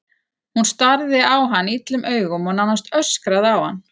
Hún starði á hann illum augum og nánast öskraði á hann.